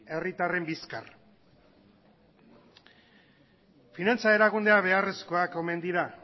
herritarren bizkar finantza erakundeak beharrezkoak omen dira